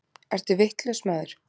Ertu vitlaus, maður!